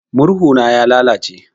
Murhu na ya lalace.